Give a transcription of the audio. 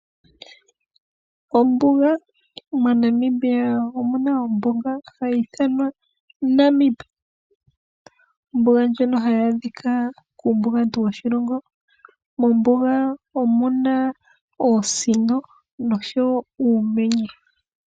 Ombuga MoNamibia omu na ombuga hayi ithanwa Namib. Ombuga ndjika hayi adhika kuumbugantu woshilongo. Mombuga omu na oosino noshowo uumenye.